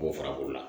K'o fara o la